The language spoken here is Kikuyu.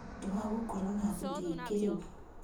Niũndũ wa gũkorũo na athuri aingĩ rĩu